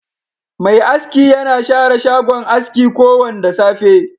Mai aski na share shagon aski ko Wanda safe.